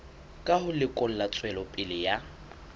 ka ho lekola tswelopele ya